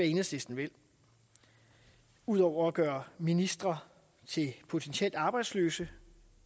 enhedslisten vil ud over at gøre ministre til potentielt arbejdsløse